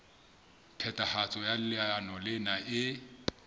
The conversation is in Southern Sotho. phethahatso ya leano lena e